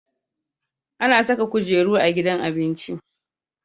Ana Saka kujeru a gidan abinji